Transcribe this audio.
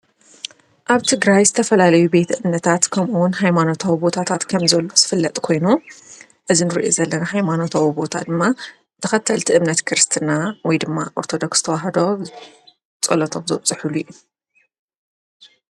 ኣብ ትግራይ ዝተፈላለዩ ቤት እምነታት ከምኡውን ኃይማኖታዊ ቦታታት ከምዘለው ዝፍለጥ ኮይኑ እዚ እንርእየ ዘለና ኃይማኖታዊ ቦታ ድማ ተኸተልቲ እምነት ክርስትና ወይ ድማ ኦርቶዶክስ ተውህዶ ጸሎቶም ዘብጽሕሉ እዩ።